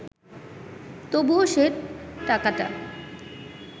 তবুও সে টাকাটা